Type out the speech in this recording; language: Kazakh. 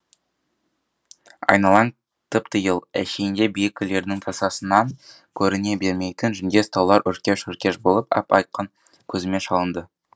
айналаң тып типыл әшейінде биік үйлердің тасасынан көріне бермейтін жүндес таулар өркеш өркеш болып ап айқын көзіме шалынды